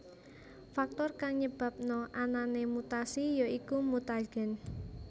Faktor kang nyebabna anané mutasi ya iku mutagen